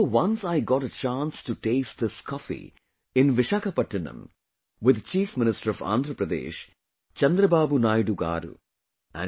I remember once I got a chance to taste this coffee in Visakhapatnam with the Chief Minister of Andhra Pradesh Chandrababu Naidu Garu